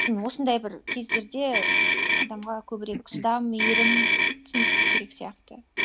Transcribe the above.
м осындай бір кездерде адамға көбірек шыдам мейірім түсіністік керек сияқты